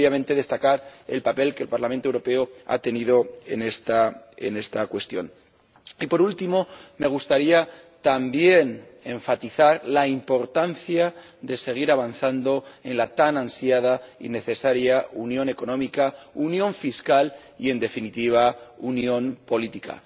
Y, obviamente, quisiera también destacar el papel que el Parlamento Europeo ha tenido en esta cuestión. Por último, me gustaría, también, enfatizar la importancia de seguir avanzando en la tan ansiada y necesaria unión económica, unión fiscal y, en definitiva, unión política.